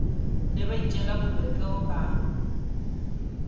ne ba itjella bolokwe ba